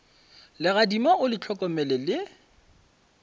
legadima o le hlokomele le